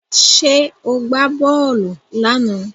Ṣé ó gbá bọ́ọ̀lù lánàá?